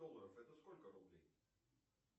долларов это сколько рублей